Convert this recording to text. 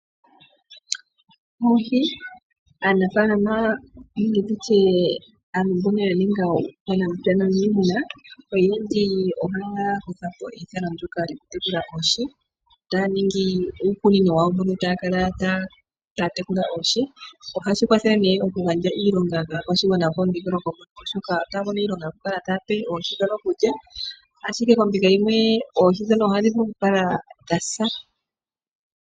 Oohii, aanafalama nenge tutye aantu mbono yaninga uunamapya nuunimuna oyendji oyakuthapo eyithano ndono lyokutekula oohii taningi uukunino wawo pono takala tatekula oohii, ohashikwathele ne mokugandja iilonga kakwashingwana pomudhingoloko poka oshoka otamono iilonga okukala tayape oohii dhono okulya, ashike kombinga yimwe oohii dhono ohadhivulu okukala dhasa.